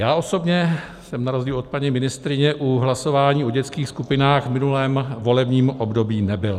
Já osobně jsem na rozdíl od paní ministryně u hlasování o dětských skupinách v minulém volebním období nebyl.